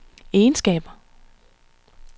egenskaber